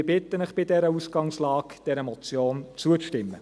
Ich bitte Sie bei dieser Ausgangslage, dieser Motion zuzustimmen.